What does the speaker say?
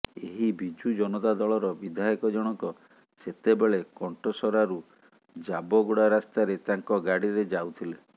ଏହି ବିଜୁ ଜନତା ଦଳର ବିଧାୟକ ଜଣକ ସେତେବେଳେ କଣ୍ଟସରାରୁ ଜାବଗୁଡ଼ା ରାସ୍ତାରେ ତାଙ୍କ ଗାଡ଼ିରେ ଯାଉଥିଲେ